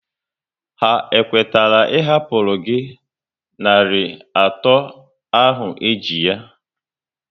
Ha kwetara ị hapụru gị narị atọ ahụ e ji ha?